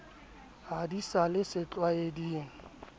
ha di sa le setlwaeding